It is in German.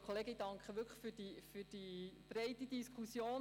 Ich bedanke mich wirklich für die breite Diskussion.